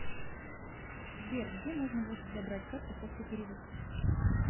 сбер где можно будет забрать карту после перевыпуска